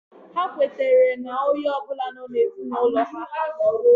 Ha kwetara na onye ọ bụla nọ n'ezinaulo ha iha